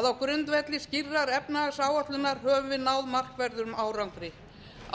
að á grundvelli skýrrar efnahagsáætlunar höfum við náð markverðum árangri